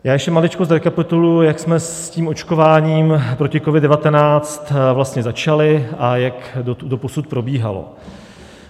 Já ještě maličko zrekapituluji, jak jsme s tím očkování proti COVID-19 vlastně začali a jak doposud probíhalo.